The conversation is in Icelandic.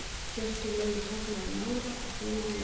Hjörtur Logi tognaði í nára og Freyr í læri.